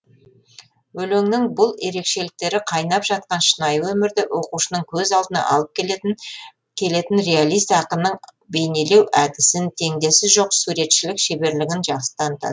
өлеңнің бұл ерекшеліктері қайнап жатқан шынайы өмірді оқушының көз алдына алып келетін реалист ақынның бейнелеу әдісін теңдесі жоқ суретшілік шеберлігін жақсы таныта